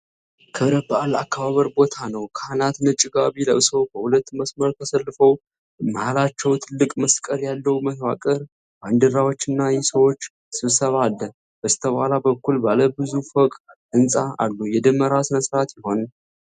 ክብረ በዓል አከባበር ቦታ ነው። ካህናት ነጭ ጋቢ ለብሰው በሁለት መስመር ተሰልፈው። መሀላቸው ትልቅ መስቀል ያለው መዋቅር፣ ባንዲራዎችና የሰዎች ስብስብ አለ። በስተኋላ በኩል ባለ ብዙ ፎቅ ሕንጻ አሉ። የደመራ ሥነሥርዓት ይሆን?